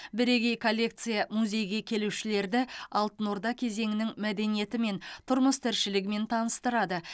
бірегей коллекция музейге келушілерді алтын орда кезеңінің мәдениетімен тұрмыс тіршілігімен таныстырады